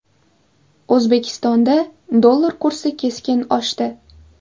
O‘zbekistonda dollar kursi keskin oshdi.